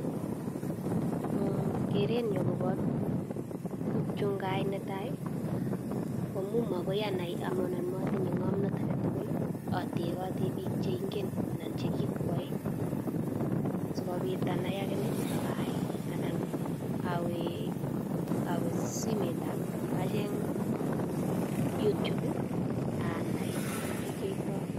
Kerenyu agobo tukyu ngaai netai, komu magoi anai amu anan matinye ng'omnot age tugul, atebote biik che ingen anan che kikwae sikobit anai agine agaai anan awe awe simetab acheng youtube anai ole kiyoitoi.